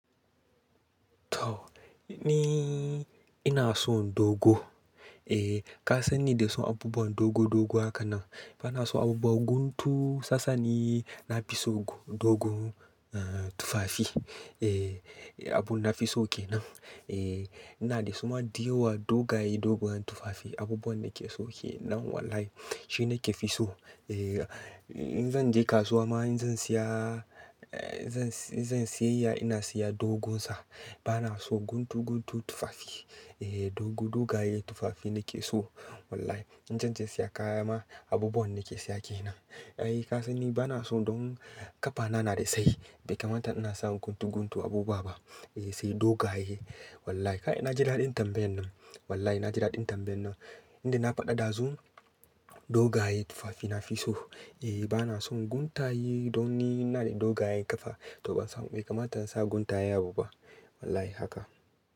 To ni ina son dogo. Eh ka san ni da son abubuwan dogo dogo haka nan. Ba na son abubuwan guntu sasani, na fi so dogon tufafi. Ehh abun na fi so kenan. Eh ina de suma diyowa dogaye doguwan tufafi abubuwan nake so kenan wallahi. Shi nake fi so. Eh in zan je kasuwa ma in zan siya eh in zan siyayya ina siya dogon sa. Ba na so guntu guntu tufafi. Eh dogo dogaye tufafi nake so wallahi. In zan je siya kaya ma abubuwan nake siya ke nan. Eh ka san ni ba na so don ƙafana na de sayi bai kamata ina sa guntu guntun abu ba. Eh sai dogaye wallahi. Kai naji daɗin tambayan nan wallahi naji daɗin tambayan nan. Inda na faɗa ɗazu dogaye tufafi nafi so. Eh ba na son guntaye don ni ina da dogayen ƙafa to ban samu bai kamata in sa guntaye abu ba wallahi haka.